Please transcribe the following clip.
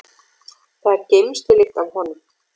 Það er geymslulykt af honum.